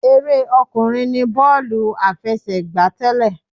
Eré ọkùnrin ní bọ́ọ̀lù àfẹsẹ̀gbá tẹ́lẹ̀.